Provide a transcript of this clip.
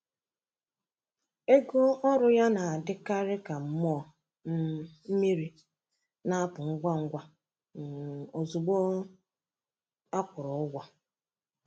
Ego ọrụ ya na-adịkarị ka mmụọ um mmiri—na-apụ ngwa ngwa um ozugbo um e kwụrụ ụgwọ.